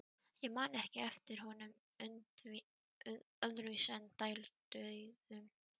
Ég man ekki eftir honum öðruvísi en dælduðum.